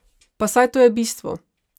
Pa saj to je bistvo!